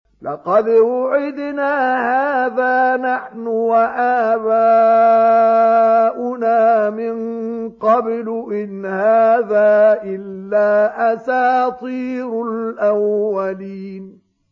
لَقَدْ وُعِدْنَا هَٰذَا نَحْنُ وَآبَاؤُنَا مِن قَبْلُ إِنْ هَٰذَا إِلَّا أَسَاطِيرُ الْأَوَّلِينَ